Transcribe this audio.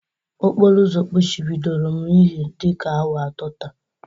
Okporo ụzọ kpuchibidoro m ihi dịka awa atọ taa.